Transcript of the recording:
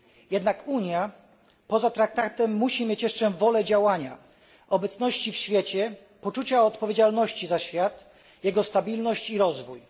Jednak poza traktatem Unia musi mieć jeszcze wolę działania, obecności w świecie, poczucia odpowiedzialności za świat, jego stabilność i rozwój.